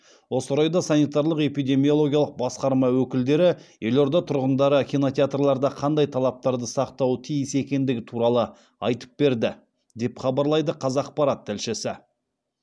осы орайда санитарлық эпидемиологиялық басқарма өкілдері елорда тұрғындары кинотеатрларда қандай талаптарды сақтауы тиіс екендігі туралы айтып берді деп хабарлайды қазақпарат тілшісі